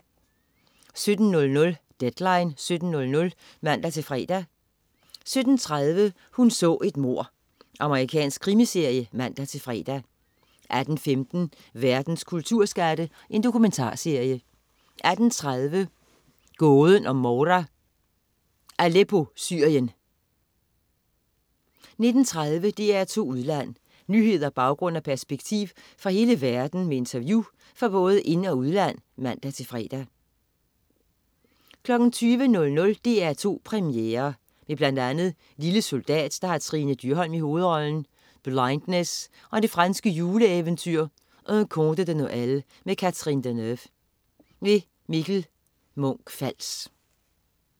17.00 Deadline 17.00 (man-fre) 17.30 Hun så et mord. Amerikansk krimiserie (man-fre) 18.15 Verdens kulturskatte. Dokumentarserie 18.30 Gåden om Moura. "Aleppo, Syrien" 19.30 DR2 Udland. Nyheder, baggrund og perspektiv fra hele verden med interview fra både ind- og udland (man-fre) 20.00 DR2 Premiere. Med bl.a. "Lille Soldat", der har Trine Dyrholm i hovedrollen, "Blindness" og det franske juleeventyr "Un Conte De Nöel" med Catherine Deneuve. Mikkel Munch-Fals